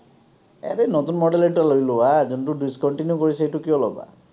এনেই নতুন model ৰ এটা লৈ লোৱা, যোনটো discontinue কৰিছে, এইটো কিয় ল’বা?